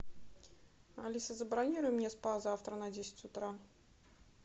алиса забронируй мне спа завтра на десять утра